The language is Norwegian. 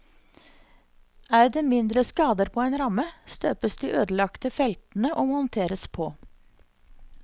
Er det mindre skader på en ramme, støpes de ødelagte feltene og monteres på.